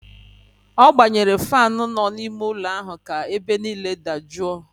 Ọ gbanyere faanụ nọ n'ime ụlọ ahụ ka ebe niile dajụọ